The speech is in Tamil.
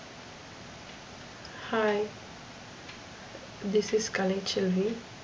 hai this is Kalaiselvi